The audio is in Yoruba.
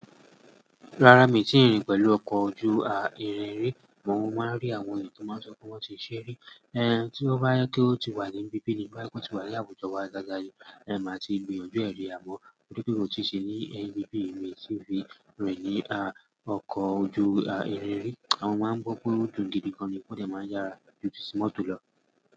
Rárá, mi ò tí ì rìn pẹ̀lú ọkọ̀ ojú-à irin rí, mò ń máa rí àwọn ènìyàn tó máa ń sọ pé wọ́n ti ṣe rí, ẹni tí ó bá yẹ kí ó ti wà ní bíbí ni bá yẹ kó ti wà ní àwùjọ wa dáadáa ni. Ẹ̀ ń bá tí ì gbé ojú ẹ rí àmọ́, ó dúró pé òun ò tí ì ṣe ní ẹni bíbí, èmi sì fi rìn ní à ọkọ̀ ojú-à irin rí, àwọn máa ń gbọ́ pé ó gùn gidi gan ní pé ó dẹ̀ máa yára ju tìsí mọ́tò lọ.